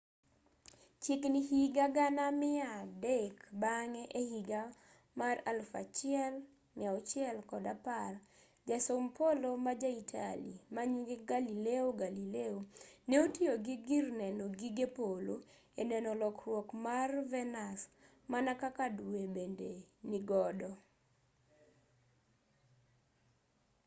chiegini higa gana mia dek bang'e ehiga 1610 jasom polo ma ja italy manyinge galileo galilei ne otiyo gi gir neno gige polo e neno lokruok mar venus mana kaka due bende nigodo